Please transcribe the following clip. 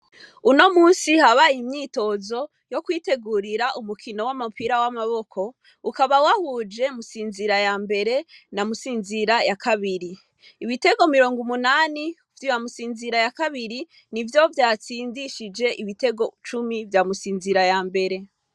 Uno musi habaye imyitozo yo kwitegurira umukino w'amapira w'amaboko ukaba wahuje musinzira ya mbere na musinzira ya kabiri ibitego mirongo umunani vya bamusinzira ya kabiri ni vyo vyatsindishije ibitego cumi vyamusinzira ya mbere.